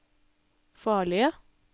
farlige